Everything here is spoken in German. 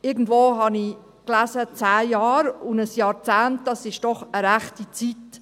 Irgendwo las ich, zehn Jahre, und ein Jahrzehnt ist doch eine rechte Zeit.